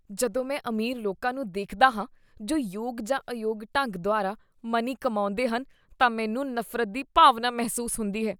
ਜਦੋਂ ਮੈਂ ਅਮੀਰ ਲੋਕਾਂ ਨੂੰ ਦੇਖਦਾ ਹਾਂ ਜੋ ਯੋਗ ਜਾਂ ਅਯੋਗ ਢੰਗ ਦੁਆਰਾ ਮਨੀ ਕਮਾਉਂਦੇਹਨ, ਤਾਂ ਮੈਨੂੰ ਨਫ਼ਰਤ ਦੀ ਭਾਵਨਾ ਮਹਿਸੂਸ ਹੁੰਦੀ ਹੈ।